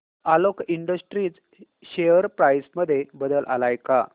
Alok industries share price मध्ये बदल आलाय का